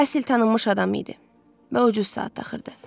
Basil tanınmış adam idi və ucuz saat taxırdı.